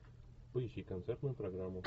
поищи концертную программу